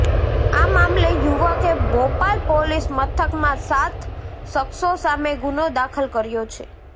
આ મામલે યુવકે બોપલ પોલીસ મથકમાં સાત શખ્સો સામે ગુનો દાખલ કર્યો છે